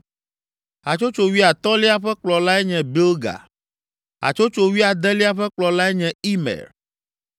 Hatsotso wuiatɔ̃lia ƒe kplɔlae nye Bilga. Hatsotso wuiadelia ƒe kplɔlae nye Imer.